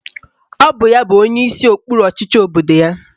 Ọ bụ ya bụ onyeisi okpuru ọchịchị obodo ya.